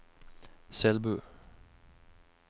Selbu